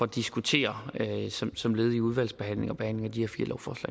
diskutere som led i udvalgsbehandlingen og behandlingen